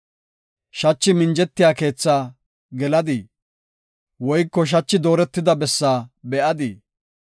Shachi minjetiya keethaa geladii? woyko shachi dooretida bessaa be7adii?